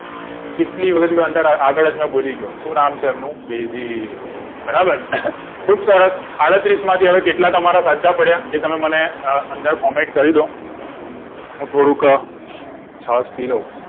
કેટલી વાર જ હું આગળ જ મેં બોલી ગયો શું નામ છે એમનું બેદિલ બરાબર ખુબસરસ આડત્રીસ માં થી હવે કેટલા તમારે સાચા પડ્યા એ તમે મને અંદર comment કરી દો હું થોડુક છાસ પી લઉં